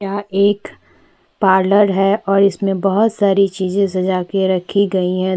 यहाँ एक पार्लर है और इसमें बहुत सारी चीजें सजा के रखी गई है दो--